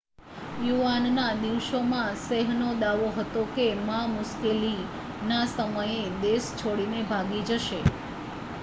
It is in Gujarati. ચુનાવ ના દિવસોમાં શેહનો દાવો હતો કે મા મુશ્કેલી ના સમયે દેશ છોડી ને ભાગી જશે